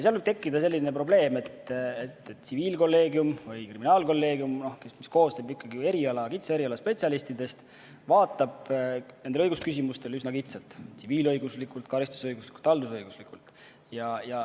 Võib tekkida selline probleem, et tsiviilkolleegium või kriminaalkolleegium, mis koosneb kitsa eriala spetsialistidest, vaatab õigusküsimustele üsna kitsalt: tsiviilõiguslikult, karistusõiguslikult, haldusõiguslikult.